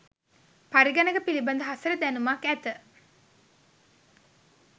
පරිගණක පිළිබඳ හසල දැනුමක් ඇත.